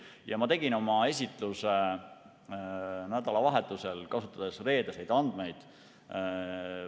Ma valmistasin oma esitluse ette nädalavahetusel, kasutades reedeseid andmeid.